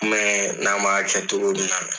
n'an man